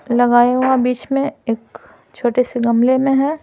लगाया हुआ बीच में एक छोटे से गमले में है।